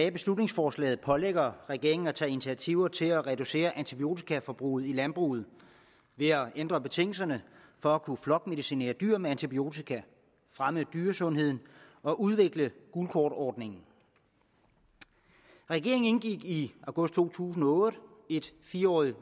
beslutningsforslaget pålægger regeringen at tage initiativ til at reducere antibiotikaforbruget i landbruget ved at ændre betingelserne for at kunne flokmedicinere dyrene med antibiotika at fremme dyresundheden og udvikle gult kort ordningen regeringen indgik i august to tusind og otte et fire årig